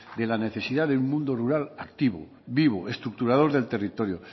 de la necesidad de un mundo rural activo vivo estructurador del territorio